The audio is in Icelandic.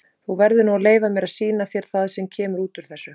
Þú verður nú að leyfa mér að sýna þér það sem kemur út úr þessu.